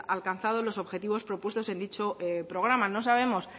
alcanzado los objetivos propuestos en dicho programa no sabemos